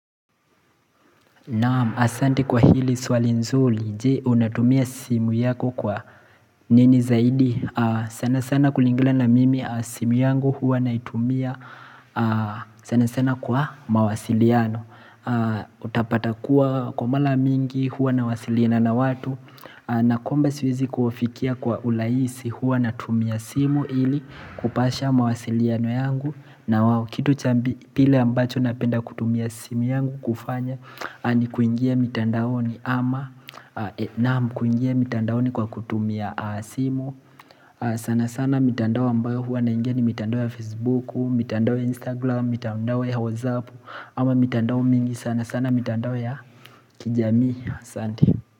Naam, asante kwa hili swali zuri. Jee, unatumia simu yako kwa nini zaidi. Sana sana kulingana na mimi, simu yangu huwa naitumia sana sana kwa mawasiliano. Utapata kuwa kwa mara nyingi, huwa nawasilina na watu. Nakwamba siwezi kuofikia kwa ulaisi, huwa natumia simu ili kupasha mawasiliano yangu. Na wa kitu cha mbi pili ambacho napenda kutumia simu yangu kufanya ni kuingia mitandaoni ama naam kuingia mitandaoni kwa kutumia simu sana sana mitandao ambayo huwa naingia ni mitandao ya facebooku, mitandao ya instagram, mitandao ya Whatsapp ama mitandao mingi sana sana mitandao ya kijamii Asante.